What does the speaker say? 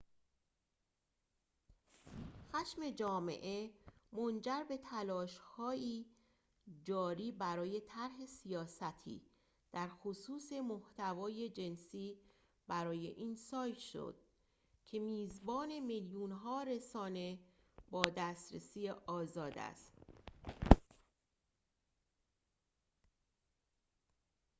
خشم جامعه منجر به تلاش‌های جاری برای طرح سیاستی در خصوص محتوای جنسی برای این سایت شد که میزبان میلیون‌ها رسانه با دسترسی آزاد است